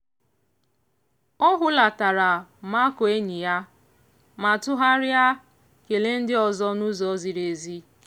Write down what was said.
ọ hulatara makụọ enyi ya ma tụgharịa kelee ndị ọzọ n'ụzọ ziri ezi.